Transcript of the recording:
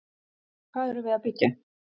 Hvað erum við að byggja?